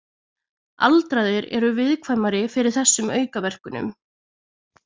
Aldraðir eru viðkvæmari fyrir þessum aukaverkunum.